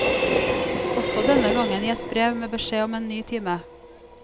Også denne gangen i et brev, med beskjed om en ny time.